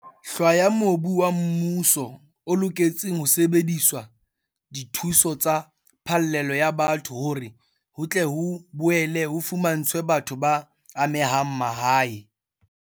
hlwaya mobu wa mmuso o loketseng ho sebedisetswa dithuso tsa phallelo ya batho hore ho tle ho boele ho fumantshwe batho ba amehang mahae.